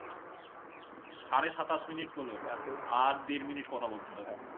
সাড়ে সাতাশ minute হলো, আর দেড় minute কথা বলতে হবে